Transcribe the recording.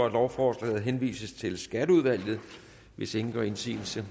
at lovforslaget henvises til skatteudvalget hvis ingen gør indsigelse